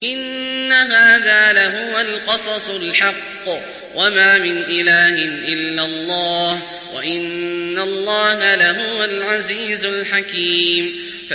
إِنَّ هَٰذَا لَهُوَ الْقَصَصُ الْحَقُّ ۚ وَمَا مِنْ إِلَٰهٍ إِلَّا اللَّهُ ۚ وَإِنَّ اللَّهَ لَهُوَ الْعَزِيزُ الْحَكِيمُ